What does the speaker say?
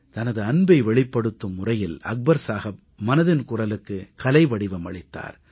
தனது அன்பை வெளிப்படுத்தும் முறையில் அக்பர் சாஹப் மனதின் குரலுக்கு கலைவடிவம் அளித்தார்